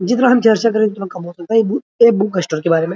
जीतना हम र्चचा करे उतना कम हो सकता है ये बु ए बुक स्टोर के बारे में।